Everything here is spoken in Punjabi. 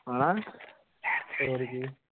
ਹੇਨਾ